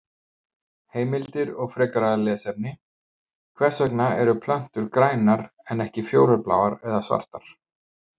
Heimildir og frekara lesefni: Hvers vegna eru plöntur grænar en ekki fjólubláar eða svartar?